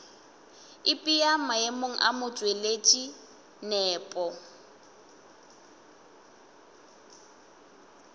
ipea maemong a motšweletši nepo